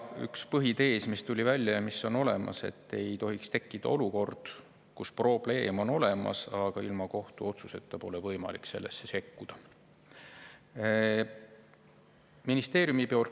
Üks põhitees, mis tuli välja ja mis on olemas, on see, et ei tohiks tekkida olukord, kus probleem on olemas, aga ilma kohtuotsuseta pole võimalik sellesse sekkuda.